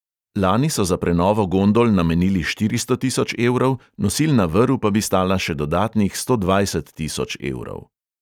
Lani so za prenovo gondol namenili štiristo tisoč evrov, nosilna vrv pa bi stala še dodatnih sto dvajset tisoč evrov.